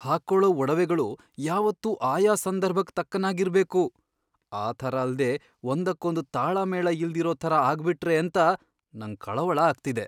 ಹಾಕೊಳೋ ಒಡವೆಗಳು ಯಾವತ್ತೂ ಆಯಾ ಸಂದರ್ಭಕ್ ತಕ್ಕನಾಗ್ ಇರ್ಬೇಕು. ಆ ಥರ ಅಲ್ದೇ ಒಂದಕ್ಕೊಂದ್ ತಾಳಮೇಳ ಇಲ್ದಿರೋ ಥರ ಆಗ್ಬಿಟ್ರೇಂತ ನಂಗ್ ಕಳವಳ ಆಗ್ತಿದೆ.